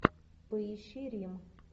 поищи рим